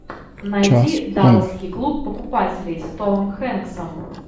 найди далласский клуб покупателей с томом хенксом